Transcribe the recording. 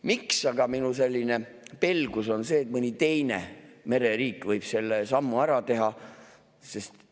Millest aga minu selline pelgus, et mõni teine mereriik võib selle sammu ära teha?